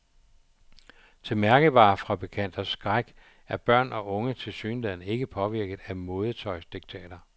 Til mærkevarefabrikanters skræk er børn og unge tilsyneladende ikke påvirket af modetøjsdiktater.